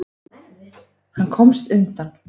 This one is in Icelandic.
Hann komst undan.